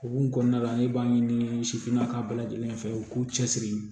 Hokumu kɔnɔna la ne b'a ɲini sifinnakaw bɛɛ lajɛlen fɛ u k'u cɛ siri